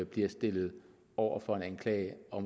bliver stillet over for en anklage og